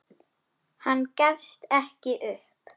Hann gefst ekki upp.